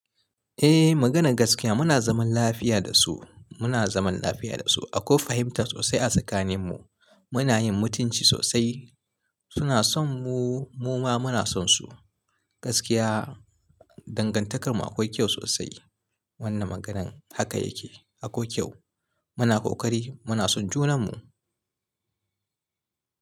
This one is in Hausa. Eh, maganan gaskiya muna zaman lafiya da su. Muna zaman lafiya da su. Akwai fahimta sosai a tsakaninmu. Muna yin mutunci sosai. Suna son mu, mu ma muna son su. Gaskiya dangantakarmu akwai kyau sosai. Wannan maganan haka yake. Akwai kyau. Muna ƙoƙari. Muna son junanmu.